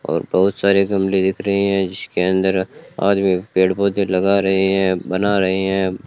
और बहुत सारे गमले दिख रहे हैं जिसके अंदर आदमी पेड़ पौधे लगा रहे हैं बना रहे हैं।